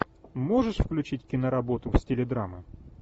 можешь включить киноработу в стиле драмы